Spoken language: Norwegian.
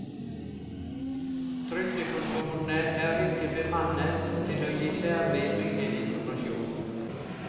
Trygdekontorene er ikke bemannet til å gi særlig mye informasjon.